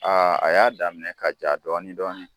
A a y'a daminɛ ka ja dɔɔni dɔɔni.